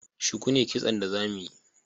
Shuku ne Kitson da za mu yi